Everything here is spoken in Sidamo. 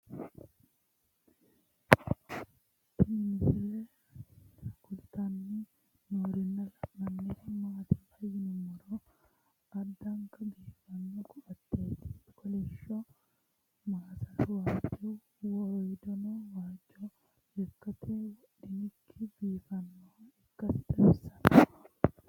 Tinni misile kulittanni noorrinna la'nanniri maattiya yinummoro addankka biiffanno koateetti kolishsho masaara waajjo woriiddonno waajjo lekkatte wodhinkki biiffannoha ikkassi xawissanno